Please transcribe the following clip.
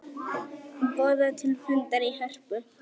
Boða til fundar í Hörpu